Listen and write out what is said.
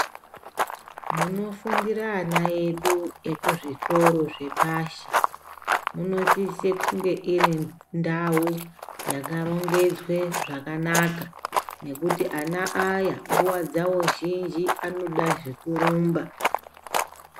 Munofundiira ana edu muzvikora zvepashi munosisa kunge iri ndau Yakarongwdzwa zvakanaka nekuti ana aya mundau zhinji anoda zvekurumba.